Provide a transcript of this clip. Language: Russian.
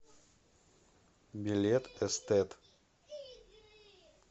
билет эстет